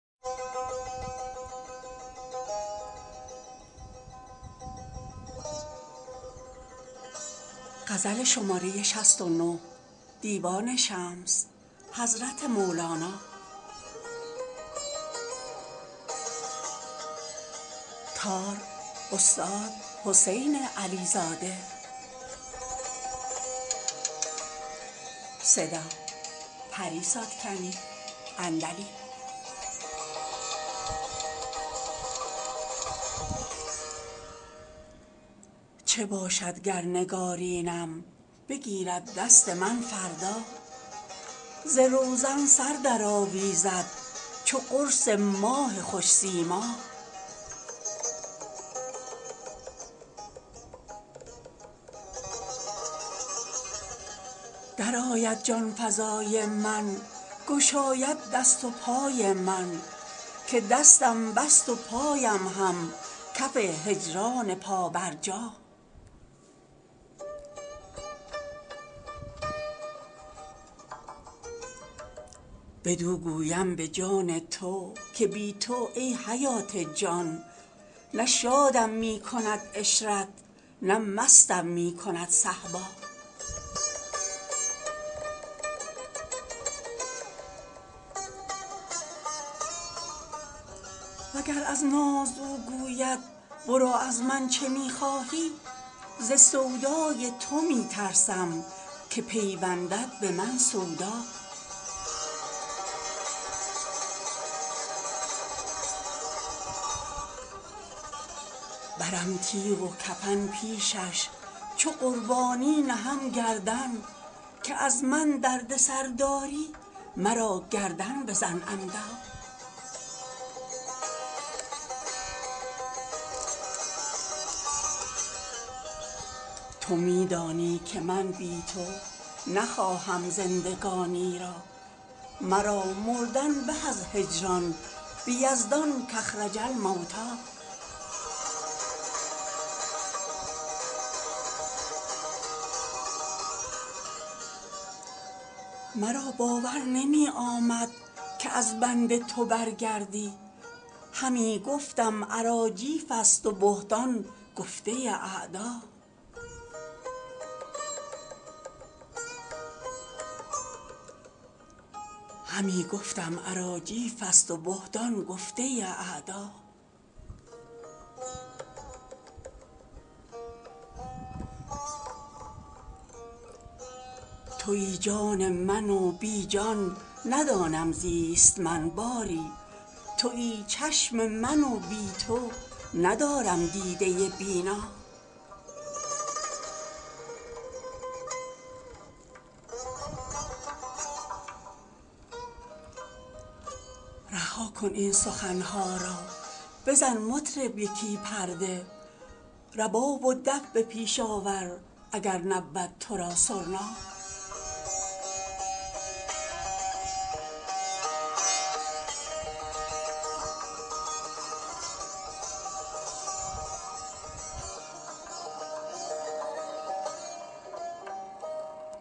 چه باشد گر نگارینم بگیرد دست من فردا ز روزن سر درآویزد چو قرص ماه خوش سیما درآید جان فزای من گشاید دست و پای من که دستم بست و پایم هم کف هجران پابرجا بدو گویم به جان تو که بی تو ای حیات جان نه شادم می کند عشرت نه مستم می کند صهبا وگر از ناز او گوید برو از من چه می خواهی ز سودای تو می ترسم که پیوندد به من سودا برم تیغ و کفن پیشش چو قربانی نهم گردن که از من دردسر داری مرا گردن بزن عمدا تو می دانی که من بی تو نخواهم زندگانی را مرا مردن به از هجران به یزدان کاخرج الموتی مرا باور نمی آمد که از بنده تو برگردی همی گفتم اراجیفست و بهتان گفته اعدا توی جان من و بی جان ندانم زیست من باری توی چشم من و بی تو ندارم دیده بینا رها کن این سخن ها را بزن مطرب یکی پرده رباب و دف به پیش آور اگر نبود تو را سرنا